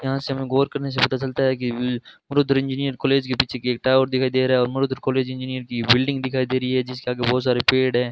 यहां से हमें गौर करने से पता चलता है कि रूद्र इंजीनियर कॉलेज के पीछे की एक टावर दिखाई दे रहा है और मरुधर कॉलेज इंजीनियर की बिल्डिंग दिखाई दे रही है जिसके आगे बहुत सारे पेड़ हैं।